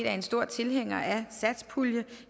er en stor tilhænger af satspuljen